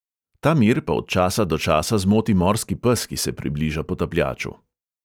Ta mir pa od časa do časa zmoti morski pes, ki se približa potapljaču.